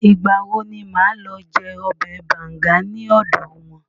Ìgbà wo ni màá lọ jẹ ọbẹ̀ banga ní ọ̀dọ̀ wọn?